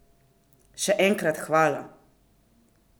Še enkrat hvala!